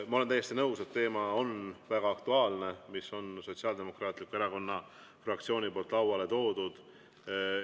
Ma olen täiesti nõus, et teema, mille Sotsiaaldemokraatliku Erakonna fraktsioon on lauale toonud, on väga aktuaalne.